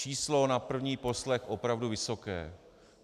Číslo na první poslech opravdu vysoké.